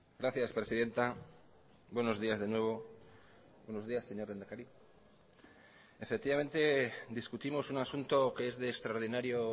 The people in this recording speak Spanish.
gracias presidenta buenos días de nuevo buenos días señor lehendakari efectivamente discutimos un asunto que es de extraordinario